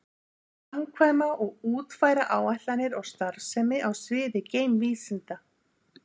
Að framkvæma og útfæra áætlanir og starfsemi á sviði geimvísinda.